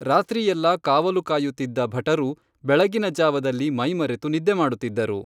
ರಾತ್ರಿಯೆಲ್ಲಾ ಕಾವಲುಕಾಯುತ್ತಿದ್ದ ಭಟರು ಬೆಳಗಿನ ಜಾವದಲ್ಲಿ ಮೈಮರೆತು ನಿದ್ದೆ ಮಾಡುತ್ತಿದ್ದರು